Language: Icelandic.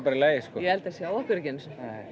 í lagi sko já ég held þeir sjái okkur ekki einu sinni